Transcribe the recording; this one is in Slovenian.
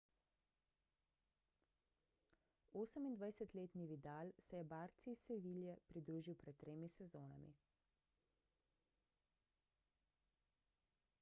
28-letni vidal se je barci iz seville pridružil pred tremi sezonami